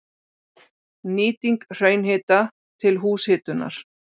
Nýting hraunhita til húshitunar